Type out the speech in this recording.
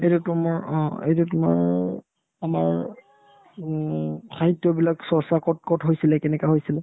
এইটো তোমাৰ অ এই যে তোমাৰ আমাৰ উম সাহিত্যবিলাক চৰ্চা ক'ত ক'ত হৈছিলে কেনেকা হৈছিলে ?